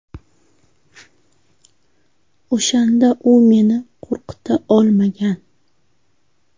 O‘shanda u meni qo‘rqita olmagan.